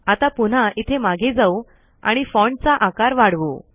आता पुन्हा इथे मागे जाऊ आणि फोन्ट चा आकार वाढवू